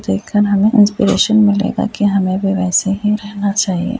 हमें इंस्पिरेशन मिलेगा कि हमें भी वैसे ही रहना चाहिए।